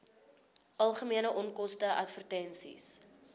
algemene onkoste advertensies